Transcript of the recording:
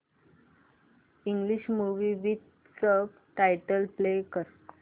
English movie with subtitles play कर